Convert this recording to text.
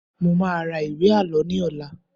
Mo máa ra ìwé Àlọ́ ní ọ̀la.